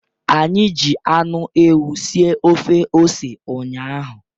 Anyị ji anụ ewu sie ofe ose ụnyahụ.